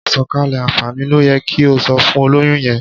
Àsọ̀kalẹ̀ àǹfààní ló yẹ kí o sọ fún olóyún yẹn.